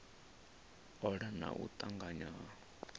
ola na u tanganya ha